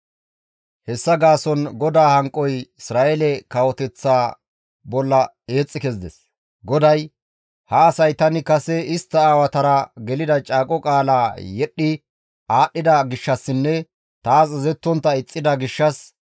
Hessa gaason GODAA hanqoy Isra7eele kawoteththaa bolla eexxi kezides; GODAY, «Ha asay tani kase istta aawatara gelida caaqo qaalaa yedhdhi aadhdhida gishshassinne taas azazettontta ixxida gishshas,